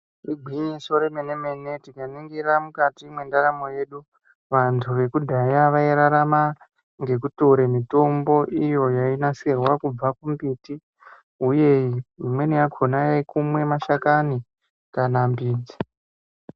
Igwinyiso remenemene tikaningira mukati mwendaramo yedu, vantu vekudhaya vairarama ngekutore mitombo iyo yainasirwa kubva mumimbiti, uye imweni yakhona yaikumwe mashakani kana midzi.